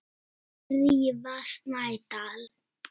Drífa Snædal.